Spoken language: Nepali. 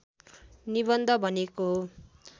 निबन्ध भनिएको हो